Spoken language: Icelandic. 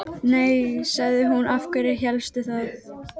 Nei, sagði hún, af hverju hélstu það?